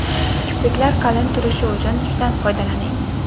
Kipriklar qalin turishi uchun tushdan foydalaning.